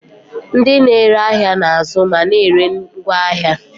Ndị na-ere ahịa na-azụ ma na-ere ngwaahịa.